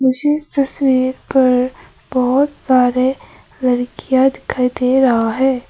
मुझे इस तस्वीर पर बहोत सारे लड़कियां दिखाई दे रहा है।